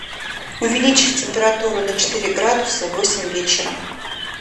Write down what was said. увеличь температуру на четыре градуса в восемь вечера